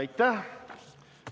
Aitäh!